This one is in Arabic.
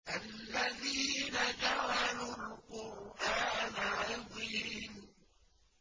الَّذِينَ جَعَلُوا الْقُرْآنَ عِضِينَ